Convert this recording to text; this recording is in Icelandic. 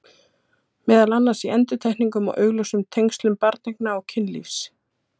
Meðal annars í endurtekningum á augljósum tengslum barneigna og kynlífs.